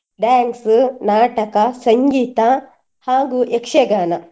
Dance , ನಾಟಕ, ಸಂಗೀತ ಹಾಗು ಯಕ್ಷಗಾನ.